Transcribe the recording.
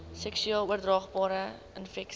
seksueel oordraagbare infeksies